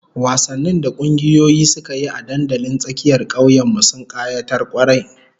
Wasannin da kungiyoyi suka yi a dandalin tsakiyar kauyen mu, sun kayatar kwarai